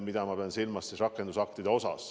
Ma pean siin silmas rakendusakte.